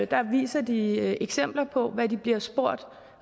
der viser de eksempler på hvad de bliver spurgt